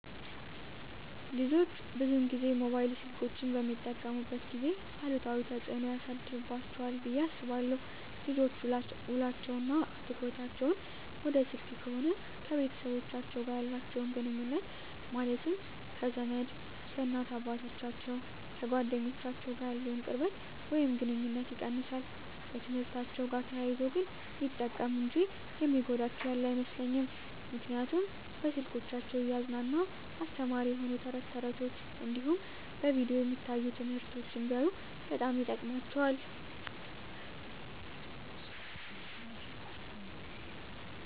ልጆች ብዙን ጊዜ ሞባይል ስልኮችን በሚጠቀሙበት ጊዜ አሉታዊ ተፅዕኖ ያሳድርባቸዋል ብየ አስባለው ልጆች ውሎቸው እና ትኩረታቸውን ወደ ስልክ ከሆነ ከቤተሰቦቻቸው ጋር ያላቸውን ግኑኙነት ማለትም ከዘመድ፣ ከእናት አባቶቻቸው፣ ከጓደኞቻቸው ጋር ያለውን ቅርበት ወይም ግኑኝነት ይቀንሳል። በትምህርትአቸው ጋር ተያይዞ ግን ሚጠቀሙ እንጂ የሚጎዳቸው ያለ አይመስለኝም ምክንያቱም በስልኮቻቸው እያዝናና አስተማሪ የሆኑ ተረት ተረቶች እንዲሁም በቪዲዮ የሚታዩ ትምህርቶችን ቢያዩ በጣም ይጠቅማቸዋል።